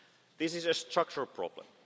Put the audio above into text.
years. This is a structural